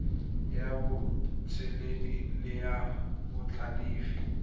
ya botseneledi le ya botlhalefi